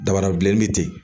Dabarabilen be ten